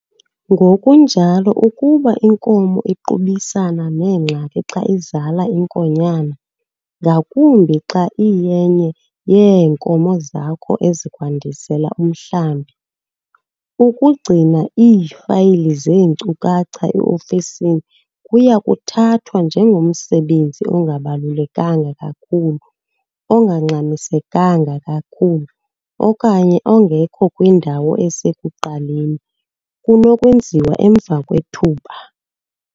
Ngokunjalo ukuba inkomo iqubisana neengxaki xa izala inkonyana, ngakumbi xa iyenye yeenkomo zakho ezikwandisela umhlambi. Ukugcina iifayili zeenkcukacha e-ofisini kuya kuthathwa njengomsebenzi ongabalulekanga kakhulu - ongangxamisekanga kakhulu, okanye ongekho kwindawo esekuqaleni, kunokwenziwa emva kwethuba.